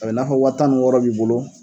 A bɛ n'a fɔ waa tan ni wɔɔrɔ b'i bolo.